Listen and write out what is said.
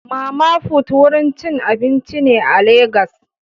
Mama put wurin cin abinci ne a legas.